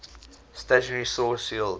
stationary source yields